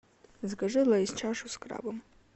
закажи лейс чашу с крабом